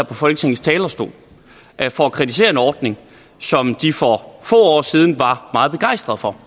på folketingets talerstol for at kritisere en ordning som de for få år siden var meget begejstrede for